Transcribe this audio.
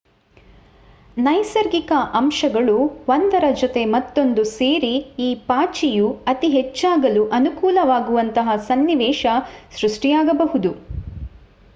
ನೈಸರ್ಗಿಕ ಅಂಶಗಳು ಒಂದರ ಜೊತೆ ಮತ್ತೊಂದು ಸೇರಿ ಈ ಪಾಚಿಯು ಅತಿ ಹೆಚ್ಚಾಗಲು ಅನುಕೂಲವಾಗುವಂತಹ ಸನ್ನಿವೇಶ ಸೃಷ್ಟಿಯಾಗಬಹುದು